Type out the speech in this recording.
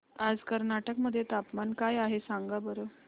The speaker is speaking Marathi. आज कर्नाटक मध्ये तापमान काय आहे सांगा बरं